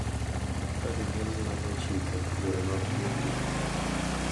Ka jonyuol lando chike, yore mag puonjo,